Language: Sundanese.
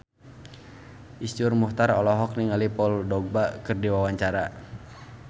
Iszur Muchtar olohok ningali Paul Dogba keur diwawancara